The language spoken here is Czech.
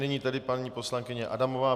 Nyní tedy paní poslankyně Adamová.